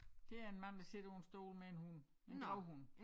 Det er en mand der sidder på en stol med en hund en gravhund